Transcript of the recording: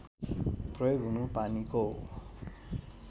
प्रयोग हुनु पानीको